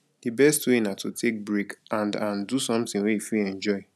di best way na to take break and and do something wey you fit enjoy